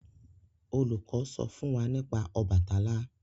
olùkó sọ fún wá nípa Obàtálá.